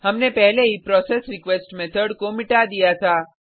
हमने पहले ही प्रोसेसरीक्वेस्ट मेथड को मिटा दिया था